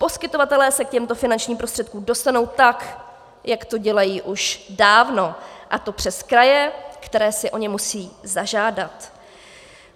Poskytovatelé se k těmto finančním prostředkům dostanou tak, jak to dělají už dávno, a to přes kraje, které si o ně musí zažádat.